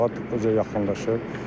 Bağa yaxınlaşır.